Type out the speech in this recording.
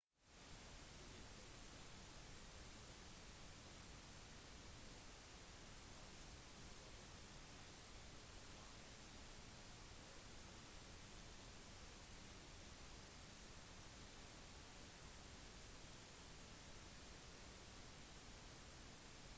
studiet oppdaget at depresjon frykt og katastrofetenkning var en del av forholdet mellom smerte og funksjonsnedsettelse hos personer som lider av korsryggproblemer